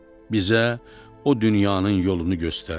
Bizə o dünyanın yolunu göstər.